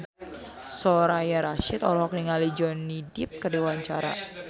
Soraya Rasyid olohok ningali Johnny Depp keur diwawancara